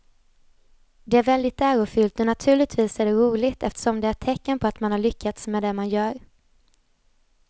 Det är väldigt ärofyllt och naturligtvis är det roligt eftersom det är ett tecken på att man har lyckats med det man gör.